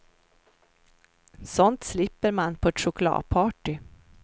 Sånt slipper man på ett chokladparty.